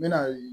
N mɛna